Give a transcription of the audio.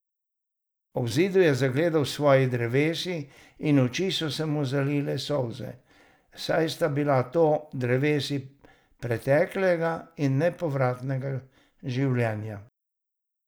Ob zidu je zagledal svoji drevesi in oči so mu zalile solze, saj sta bili to drevesi preteklega in nepovratnega življenja.